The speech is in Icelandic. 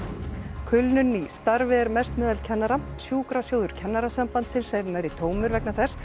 kulnun í starfi er mest meðal kennara sjúkrasjóður Kennarasambandsins er nærri tómur vegna þess